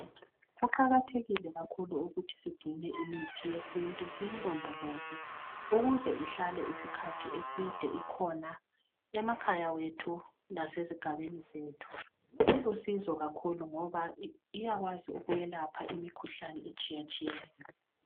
Kuqakathekile kakhulu ukuthi sigcine imithi yesintu siyilondoloze ukuze ihlale isikhathi eside ikhona emakhaya ethu lasezigabeni zethu. Ilusizo kakhulu ngoba iyakwazi ukwelapha imikhuhlane etshiyatshiyeneyo